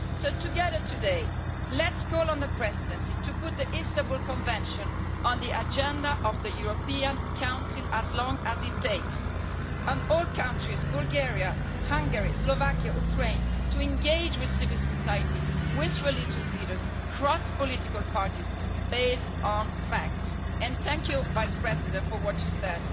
So together today, let's call on the Presidency to put the Istanbul Convention on the agenda of the European Council for as long as it takes, and call on all countries Bulgaria, Hungary, Slovakia and Ukraine to engage with civil society, with religious leaders, across political parties based on facts. Thank you, Vice President for what you said.